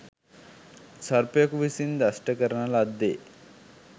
සර්පයෙකු විසින් දෂ්ට කරන ලද්දේ